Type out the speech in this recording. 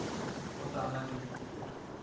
go sa na le se